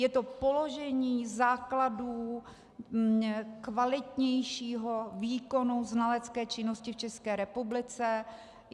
Je to položení základů kvalitnějšího výkonu znalecké činnosti v České republice.